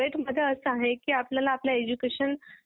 धन्यवाद